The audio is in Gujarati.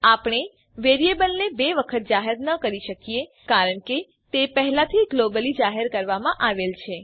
આપણે વેરીએબલને બે વખત જાહેર ન કરી શકીએ કારણ કે તે પહેલાથી ગ્લોબલી જાહેર કરવામાં આવેલ છે